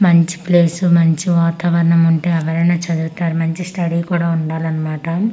మంచి ప్లేసు మంచి వాతావరణము ఉంటే ఎవరైనా చదువుతారు మంచి స్టడీ కూడా ఉండాలనమాట.